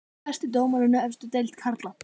Hver er besti dómarinn í efstu deild karla?